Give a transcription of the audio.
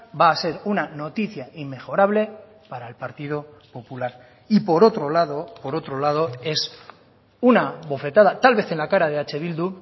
va a ser una noticia inmejorable para el partido popular y por otro lado por otro lado es una bofetada tal vez en la cara de eh bildu